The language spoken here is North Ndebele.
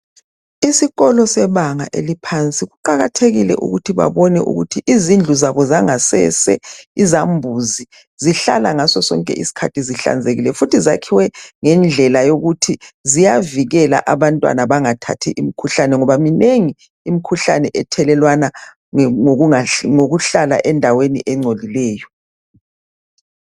Isikolo sebanga eliphansi, kuqakathekile ukuthi izindlu zabo zangasese izambuzi zihlala ngaso sonke isikhathi zihlanzekile futhi zakhiwe ngendlela yokuthi ziyavikela abantwana bangathathi imikhuhlane ngoba minengi imikhuhlane ethelelwana ngokuhlala endaweni engcolileyo.